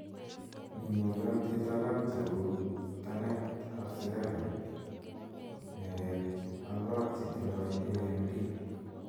mi ng'ooiyiaantiit alak che u ptanent ab sigaret, neret ak koot che tindai AMD